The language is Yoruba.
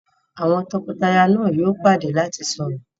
àwọn toko-taya yóò pàdé lati sọrọ.